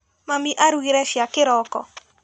Mami arugire cai kĩroko.